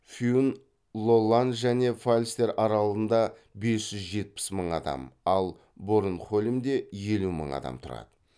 фюн лолланн және фальстер аралдарында бес жүз жетпіс мың адам ал борнхольмде елу мың адам тұрады